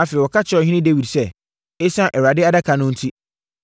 Afei, wɔka kyerɛɛ ɔhene Dawid sɛ, “Esiane Awurade Adaka no enti,